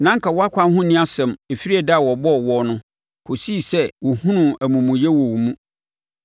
Na anka wʼakwan ho nni asɛm ɛfiri ɛda a wɔbɔɔ woɔ no kɔsii sɛ wɔhunuu amumuyɛ wɔ wo mu.